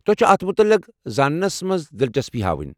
تۄہہ چھ اتھ متعلق زاننس منٛز دلچسپی ہاوٕنۍ۔